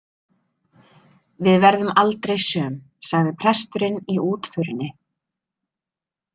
Við verðum aldrei söm, sagði presturinn í útförinni.